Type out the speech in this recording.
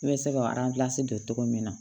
I bɛ se ka don cogo min na